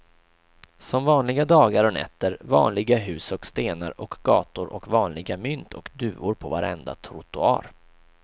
Som vanliga dagar och nätter, vanliga hus och stenar och gator och vanliga mynt och duvor på varenda trottoar.